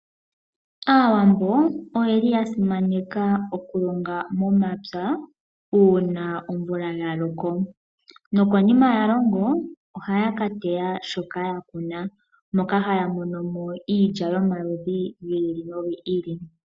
Aawambo oya simaneka okulonga momapya uuna omvula ya loko. Konima ya longa, ohaya ka teya shoka ya kuna moka haya mono mo iilya yomaludhi gi ili nogi ili.